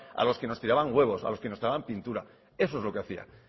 a los que nos tiraban huevos a los que nos tiraban pintura eso es lo que hacía